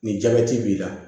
Ni jabɛti b'i la